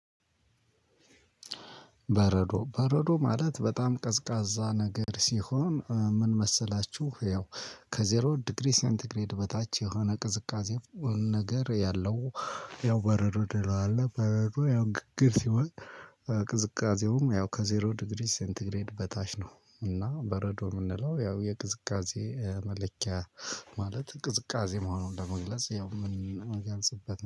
በረዶ በረዶ ማለት በጣም ቀዝቃዛ ነገር ሲሆን ምን መሰላችሁ ያው ከዜሮ ዲግሪ ሴንትግሬድ በታች የሆነ ቅዝቃዜው ነገር ያለው ያው በረድ እንለዋለን። በረድ ያው ግግር ሲሆን ቅዝቃዜውም ያው ከዜሮ ዲግሪ ሴንቲግሬድ በታች ነው እና በረዶ የምንለው ያው የቅዝቃዜ መለኪያ ማለት ቅዝቃዜ መሆኑን ለመግለጽ ያው ምን ያልስበት